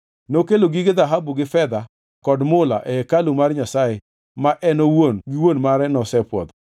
Nokelo gige dhahabu gi fedha kod mula e hekalu mar Nyasaye ma en owuon gi wuon mare nosepwodho.